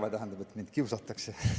Ei, ma ei arva, et mind kiusatakse.